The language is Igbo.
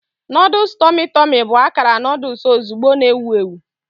Noodles tummy tummy bụ akara noodle ozugbo na-ewu ewu.